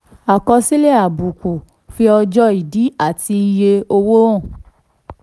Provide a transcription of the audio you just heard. àkọsílẹ̀ àbùkù: fi ọjọ́ ìdí àti iye owó hàn.